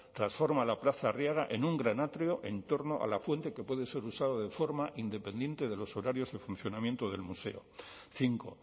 transforma la plaza arriaga en un gran atrio en torno a la fuente que puede ser usada de forma independiente de los horarios de funcionamiento del museo cinco